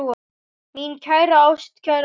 Mín kæra, ástkæra móðir.